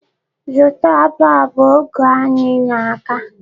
Zụta bọb! Oge anyi na-aga.